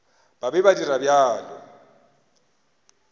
ba be ba dira bjalo